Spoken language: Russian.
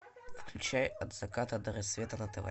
включай от заката до рассвета на тв